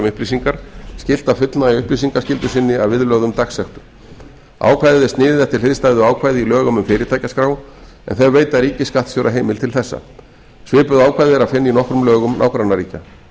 upplýsingar skylt að fullnægja upplýsingaskyldu sinni að viðlögðum dagsektum ákvæðið er sniðið eftir hliðstæðu ákvæði í lögum um fyrirtækjaskrá en þau veita ríkisskattstjóra heimild til þessa svipuð ákvæði er að finna í nokkrum lögum nágrannaríkja